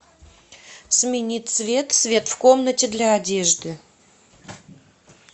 смени цвет свет в комнате для одежды